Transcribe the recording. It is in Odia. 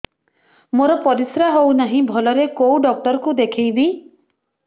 ମୋର ପରିଶ୍ରା ହଉନାହିଁ ଭଲରେ କୋଉ ଡକ୍ଟର କୁ ଦେଖେଇବି